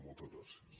moltes gràcies